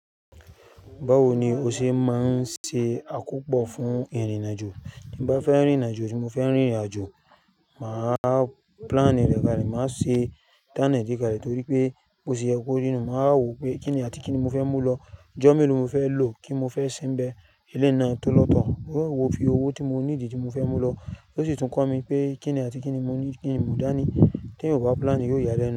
Báwo ni ó ṣe máa ń ṣe àkópọ̀ fún ìrìnàjò? Bí mo bá fẹ́ rìnrìnàjò tí mo fẹ́ rìnrìnàjò, màá plani rẹ̀ kalẹ̀, màá ṣe tán è ní kalẹ̀ torí pé bó ti yẹ kó rí nú, màá wò pé kíni àti kíni mo fẹ́ mú lọ, ijọ́ mélòó mo fẹ́ lò kí n mo fẹ́ se n bẹ̀, eleyi náà tó lọ́tọ̀, ó yẹ wò fi owó tí mo ní di tí mo fẹ́ mú lọ, ó sì tún kọ́ mi pé kíni àti kíni mo ní, kíni mo dá ní. Tí èyan ò bá plani, yóò yálẹ́ nú.